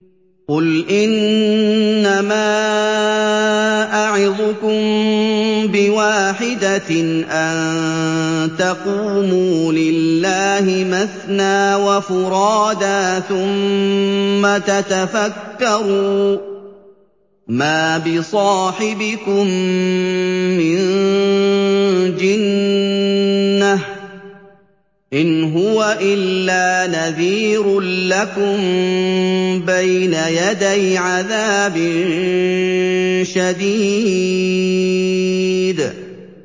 ۞ قُلْ إِنَّمَا أَعِظُكُم بِوَاحِدَةٍ ۖ أَن تَقُومُوا لِلَّهِ مَثْنَىٰ وَفُرَادَىٰ ثُمَّ تَتَفَكَّرُوا ۚ مَا بِصَاحِبِكُم مِّن جِنَّةٍ ۚ إِنْ هُوَ إِلَّا نَذِيرٌ لَّكُم بَيْنَ يَدَيْ عَذَابٍ شَدِيدٍ